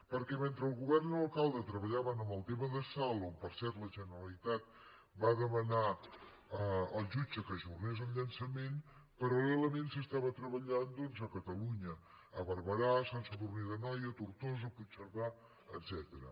perquè mentre el govern i l’alcalde treballaven en el tema de salt on per cert la generalitat va demanar al jutge que ajornés el llançament paral·lelament s’estava treballant doncs a catalunya a barberà a sant sadurní d’anoia a tortosa a puigcerdà etcètera